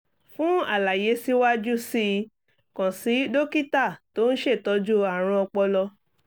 fún àlàyé síwájú sí i kàn sí dókítà tó ń ṣètọ́jú àrùn ọpọlọ